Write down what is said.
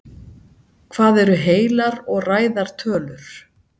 Hvað eru heilar og ræðar tölur?